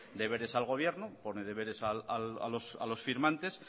deberes al gobierno pone deberes a los firmantes